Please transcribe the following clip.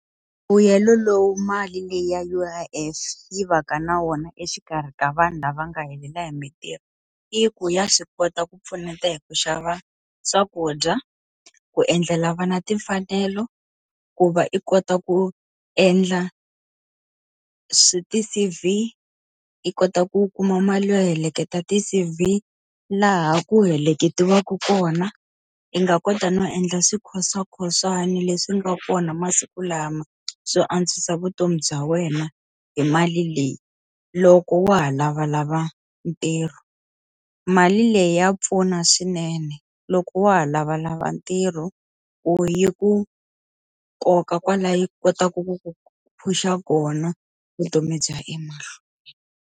Mbuyelo lowu mali leyi ya U_I_F yi va ka na wona exikarhi ka vanhu lava nga helela hi mintirho, i ku ya swi kota ku pfuneta hi ku xava swakudya, ku endlela vana timfanelo, ku va i kota ku endla ti-C_V, i kota ku kuma mali yo heleketa ti-C_V laha ku heleketiwaku kona. I nga kota no endla swikhoswakhoswana leswi nga kona masiku lama swo antswisa vutomi bya wena hi mali leyi, loko wa ha lavalava ntirho. Mali leyi ya pfuna swinene loko wa ha lavalava ntirho ku yi ku koka kwalaya yi kotaka ku ku push-a kona, vutomi bya emahlweni.